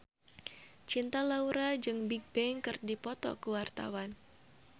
Cinta Laura jeung Bigbang keur dipoto ku wartawan